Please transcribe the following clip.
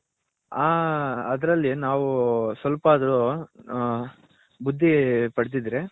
ಆ ಅದರಲ್ಲಿ ನಾವು ಸ್ವಲ್ಪ ಅದ್ರು ಆ ನಾವು ಹ ಬುದ್ಧಿ ಪಡದ್ದಿದ್ರೆ .